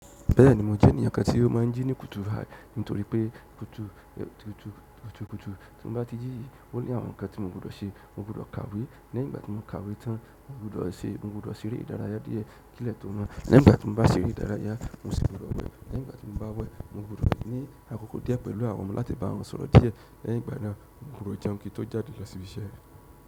Bẹ́ẹ̀ni, mo jẹ́ ènìyàn kan tí ó máa ń jí ní kùtù hàì, nítorí pé kùtù kùtù kùtù kùtù. Tí n bá ti jí, ó ní àwọn ǹkan tí mo gbọdọ̀ ṣe. Mo gbọdọ̀ kàwé, lẹ́yìn ìgbà tí mo kàwé tán, mo gbọdọ̀ ṣe, mo gbọdọ̀ ṣeré ìdárayá díẹ̀ kí lẹ̀ tó mọ́. Nígbà tí mo bá ṣeré ìdárayá, mo sì gbọdọ̀ wẹ̀. Lẹ́yìn ìgbà tí mo bá wẹ̀, mo gbọdọ̀ ní àkókò díẹ̀ pẹ̀lú àwọn ọmọ láti bá wọn sọ̀rọ̀ díẹ̀. Lẹ́yìn ìgbà náà mo gbọdọ̀ jẹun kí n tó jáde lọ síbi iṣẹ́.